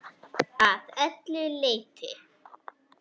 Að öllu leyti.